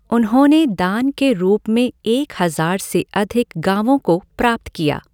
उन्होंने दान के रूप में एक हज़ार से अधिक गाँवों को प्राप्त किया।